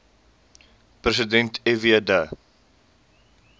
president fw de